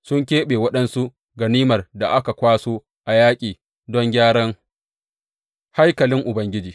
Sun keɓe waɗansu ganimar da aka kwaso a yaƙi don gyaran haikalin Ubangiji.